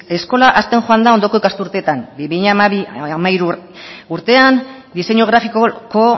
eskola hazten joan da ondoko ikasturteetan bi mila hamairu urtean diseinu grafikoko